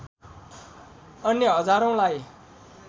अन्य हजारौंलाई